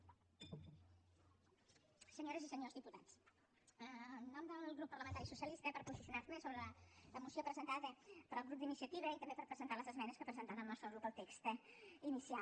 senyores i senyors diputats en nom del grup parlamentari socialista per posicionar me sobre la moció presentada pel grup d’iniciativa i també per presentar les esmenes que ha presentat el nostre grup al text inicial